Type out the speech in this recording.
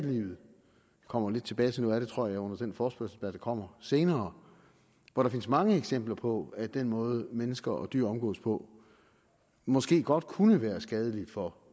kommer tilbage til noget af det tror jeg under den forespørgsel der kommer senere hvor der findes mange eksempler på at den måde mennesker og dyr omgås på måske godt kunne være skadelig for